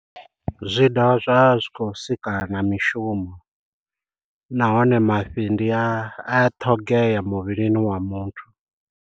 Zwi dovha zwa vha zwi khou sika na mishumo, nahone mafhi ndi a ṱhogea muvhilini wa muthu.